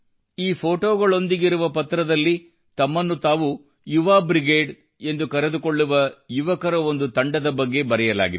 ಈ ಫೊಟೋಗಳೊಂದಿಗಿರುವ ಪತ್ರದಲ್ಲಿ ತಮ್ಮನ್ನು ತಾವು ಯುವಾ ಬ್ರಿಗೇಡ್ ಎಂದು ಕರೆದುಕೊಳ್ಳುವ ಯುವಕರ ಒಂದು ತಂಡದ ಬಗ್ಗೆ ಬರೆಯಲಾಗಿದೆ